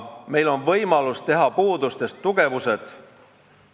Meil on võimalus teha oma puudustest tugevused.